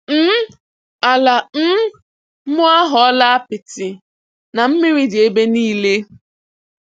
um Ala um m aghọọla apịtị na mmiri dị ebe niile.